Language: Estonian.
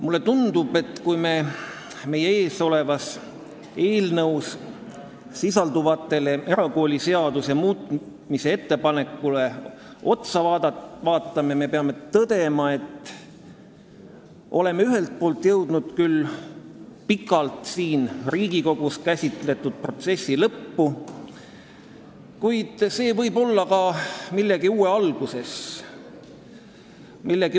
Mulle tundub, et kui vaadata meie ees oleva erakooliseaduse muutmise seaduse eelnõu ettepanekuid, peame tõdema, et me oleme ühelt poolt jõudnud küll siin Riigikogus pikalt käsitletud protsessi lõppu, kuid see võib olla ka millegi uue algus.